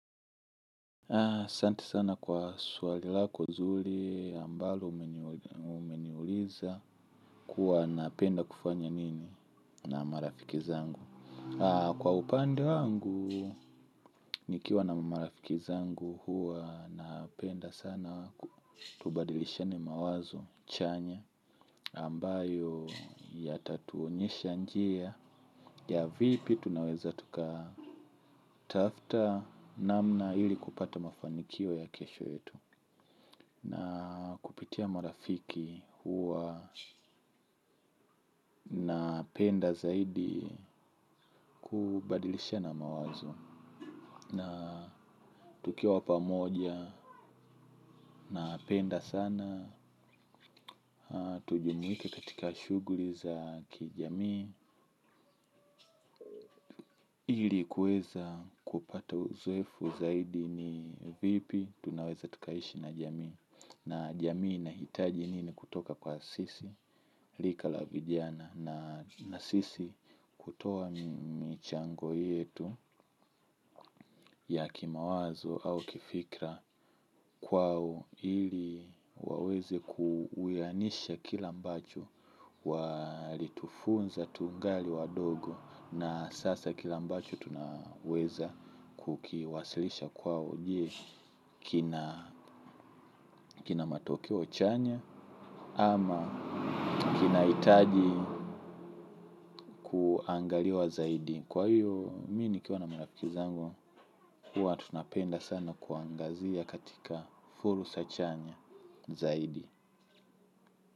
Asanti sana kwa swalilako nzuri ambalo umeniuliza kuwa napenda kufanya nini na marafiki zangu. Ah, kwa upande wangu, nikiwa na marafiki zangu huwa napenda sana ku tubadilishane mawazo chanya ambayo ya tatuonyesha njia ya vipi tunaweza tuka tafta namna ili kupata mafanikio ya kesho yetu. Na kupitia marafiki huwa na penda zaidi kubadilisha na mawazo. Na tukiwa pa moja na penda sana. Tujumuike katika shughuli za kijamii. Ili kuweza kupata uzoefu zaidi ni vipi tunaweza tukaishi na jamii. Na jamii ina hitaji nini kutoka kwa sisi. Lika la vijana na sisi kutoa michango yetu ya kimawazo au kifikra kwao ili waweze kuwianisha kila ambacho walitufunza tungali wadogo na sasa kila ambacho tunaweza kukiwasilisha kwao je kina kina matokeo chanya ama kina itaji kuangaliwa zaidi. Kwa hiyo, mii ni kiwana marafiki zangu huwa tunapenda sana kuangazia katika fursa chanya zaidi.